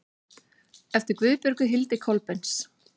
eftir guðbjörgu hildi kolbeins